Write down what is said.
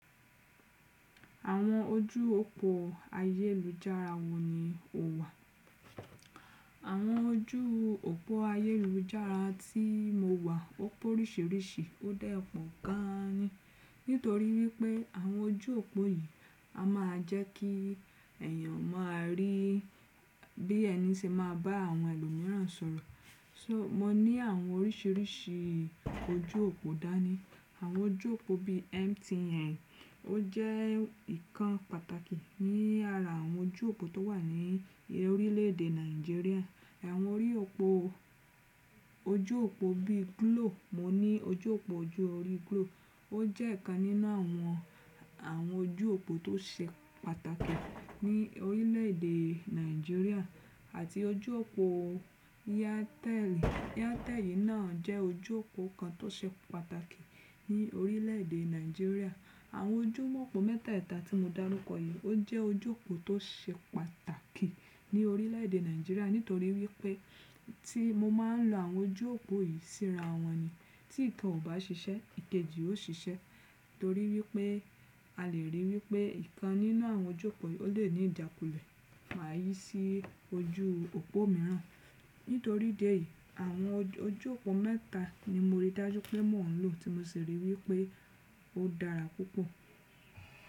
Àwọn ojú òpó ayélujára wo ni o wà? Àwọn ojú òpó ayélujára tí mo wà ó pé oríṣiríṣi, ó dà pọ̀ gan ni. Nítorí wípé àwọn ojú òpó yìí a máa jẹ́ kí ẹ̀yàn máa rí bí ẹni ṣe máa bá àwọn ẹlòmíràn sọ̀rọ̀. So mo ní àwọn oríṣiríṣi ojú òpó dá ní. Àwọn ojú òpó bí MTN ó jẹ́ ìkan pàtàkì ní ara àwọn ojú òpó tó wà ní orílè èdè Nàìjíríà. Ẹ̀wọ̀n orí òpó ojú òpó bí Glo, mo ní ojú òpó ojú orí Glo. Ó jẹ́ ìkan nínú àwọn, àwọn ojú òpó tó ṣe pàtàkì ní orílè èdè Nàìjíríà àti ojú òpó Airtel. Airtel yìí náà jẹ́ ojú òpó kan tó ṣe pàtàkì ní orílè èdè Nàìjíríà. Àwọn ojú mọ̀ọ́po mẹ́tẹ̀ta tí mo dárúkọ yìí ó jẹ́ ojú òpó tó ṣe pàtàkì ní orílè èdè Nàìjíríà nítorí wípé tí mo máa ń lo àwọn ojú òpó yìí síra wọn ni tí ìtàn ò bá ṣiṣẹ́, ìkejì ó ṣiṣẹ́ torí wípé a lè rí wípé ìkan nínú àwọn ojú òpó yìí ó lè ní ìdákulẹ̀ wá yí sí ojú òpó mìíràn. Nítorí ìdí èyí àwọn ojú òpó mẹ́ta ni mo rí dájú pé mò ń lò tí mo sì rí i wípé ó dára púpọ̀